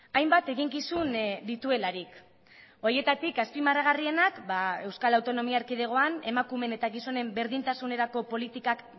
hainbat eginkizun dituelarik horietarik azpimarragarrienak ba euskal autonomia erkidegoan emakumeen eta gizonen berdintasunerako politikak